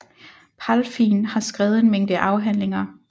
Palfijn har skrevet en mængde afhandlinger